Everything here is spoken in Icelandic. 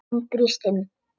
Hún brýst um.